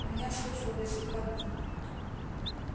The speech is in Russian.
у меня служба без выходных